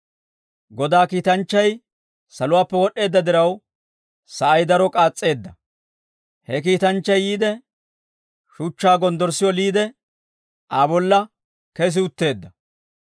Godaa kiitanchchay saluwaappe wod'd'eedda diraw, sa'ay daro k'aas's'eedda; he kiitanchchay yiide, shuchchaa gonddorssi oliide, Aa bolla kesi utteedda.